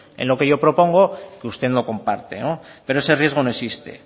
en lo que yo propongo que usted no comparte pero ese riesgo no existe